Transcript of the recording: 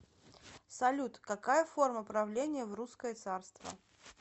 салют какая форма правления в русское царство